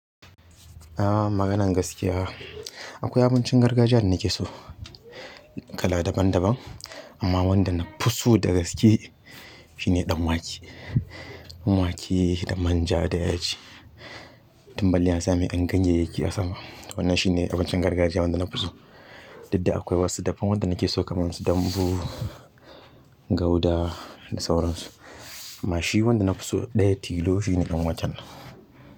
Maganan gaskiya akwai abincin gargajiya da nake so kala daban daban amma wanda nafi so da gaske shine dan wake dan wake da manja da yaji. Tumballi ya sa mai an ganye yake a sama. Wannan shine abincin gargajiya wanda nafi so. Duk da akwai wasu dafan wanda nake so kamar su dambu, gauda da sauransu. Amma shi wanda nafi so ɗaya tilo shine ɗan waken.